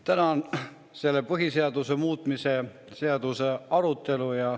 Täna on põhiseaduse muutmise seaduse arutelu.